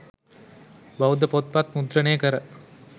බෞද්ධ පොත් පත් මුද්‍රණය කර